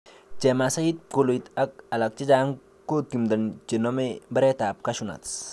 Chemasai, pkoloit ak alak chechang ko timdo chenome mbaretab Cashew nut